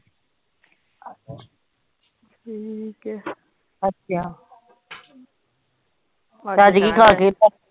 ਠੀਕ ਹੈ